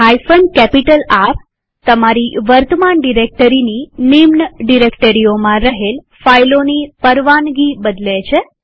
R160 તમારી વર્તમાન ડિરેક્ટરીની સબ ડિરેક્ટરીઓમાં રહેલ ફાઈલોની પરવાનગી બદલે છે